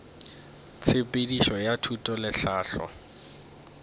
tshepedišo ya thuto le tlhahlo